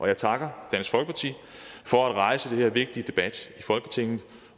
jeg takker dansk folkeparti for at rejse den her vigtige debat i folketinget